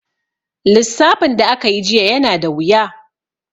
Lissafin da aka yi jiya yana da wuya.